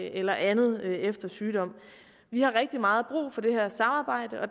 eller andet efter sygdom vi har rigtig meget brug for det her samarbejde og